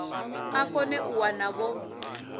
a kone u wana vho